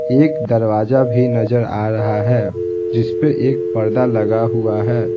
एक दरवाजा भी नजर आ रहा है जिस पर एक पर्दा लगा हुआ है।